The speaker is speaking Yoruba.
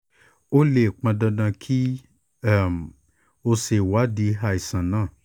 ó lè pọn dandan kí um o ṣe ìwádìí àìsàn náà